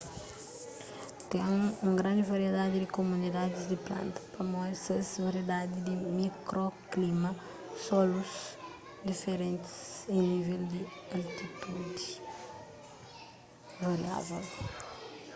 ten un grandi variedadi di komunidadis di planta pamodi ses variedadi di mikroklima solus diferentis y nivel di altitudi variável